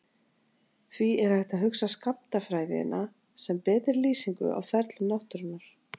Því er hægt að hugsa skammtafræðina sem betri lýsingu á ferlum náttúrunnar.